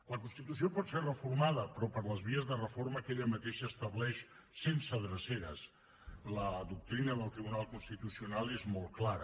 la constitució pot ser reformada però per les vies de reforma que ella mateixa estableix sense dreceres la doctrina del tribunal constitucional és molt clara